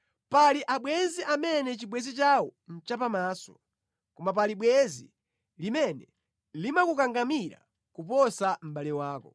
Pali abwenzi amene chibwenzi chawo nʼchapamaso, koma pali bwenzi limene limakukangamira kuposa mʼbale wako.